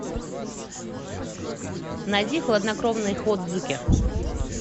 найди хладнокровный ходзуки